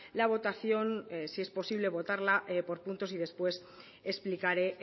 la votación si es posible votarla por puntos y después explicaré